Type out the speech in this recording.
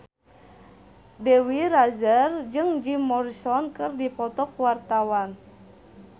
Dewi Rezer jeung Jim Morrison keur dipoto ku wartawan